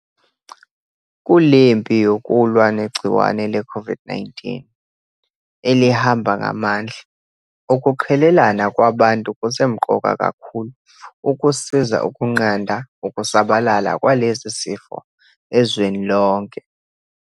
Kulempi yokulwa negciwane leCOVID -19 elihamba ngamandla, ukuqhelelana kwabantu kusemqoka kakhulu ukusiza ukunqanda ukusabalala kwalesi sifo ezweni lonke.